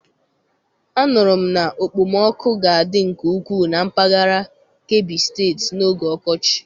Anụrụ m na okpomọkụ ga-adị nke ukwuu na mpaghara Kebbi steeti n'oge ọkọchị.